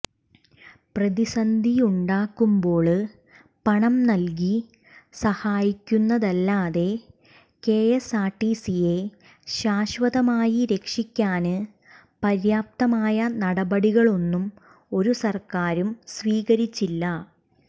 പ്രതിസന്ധിയുണ്ടാകുമ്പോള് പണം നല്കി സഹായിക്കുന്നതല്ലാതെ കെഎസ്ആര്ടിസിയെ ശാശ്വതമായി രക്ഷിക്കാന് പര്യാപ്തമായ നടപടികളൊന്നും ഒരു സര്ക്കാരും സ്വീകരിച്ചില്ല